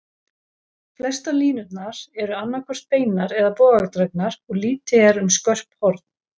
Flestar línurnar eru annað hvort beinar eða bogadregnar, og lítið er um skörp horn.